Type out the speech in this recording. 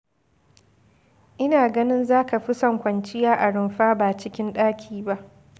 Ina ganin za ka fi son kwanciya a rumfa ba cikin ɗaki ba.